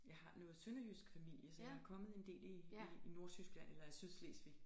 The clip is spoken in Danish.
Jeg har noget sønderjysk familie så jeg er kommet en del i i i Nordtyskland eller i Sydslesvig